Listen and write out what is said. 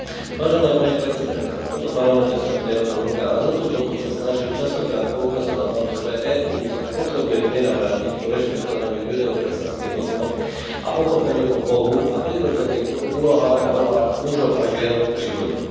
Vážená pani predsedajúca, v tomto parlamente som tri a pol roka a za tú dobu sa snažím častokrát poukazovať na to, že EÚ sa potrebuje prinavrátiť ku rešpektovaniu judeo kresťanských hodnôt a k pochopeniu o Bohu a prirodzených úlohách a rolách mužov a žien v živote.